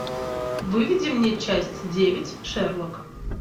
выведи мне часть девять шерлок